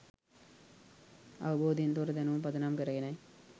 අවබෝධයෙන් තොර දැනුම පදනම් කරගෙනයි